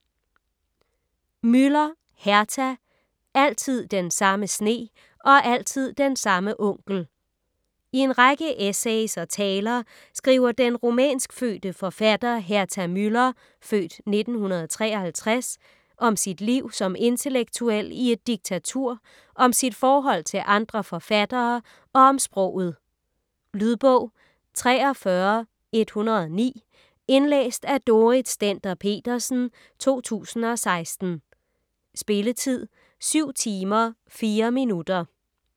Müller, Herta: Altid den samme sne og altid den samme onkel I en række essays og taler skriver den rumænskfødte forfatter Herta Müller (f. 1953) skriver om sit liv som intellektuel i et diktatur, om sit forhold til andre forfattere og om sproget. Lydbog 43109 Indlæst af Dorrit Stender-Petersen, 2016. Spilletid: 7 timer, 4 minutter.